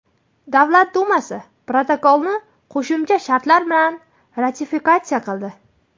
Davlat dumasi protokolni qo‘shimcha shartlar bilan ratifikatsiya qildi.